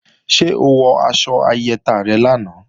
Ṣé o wọ aṣọ ayẹta rẹ lánàá?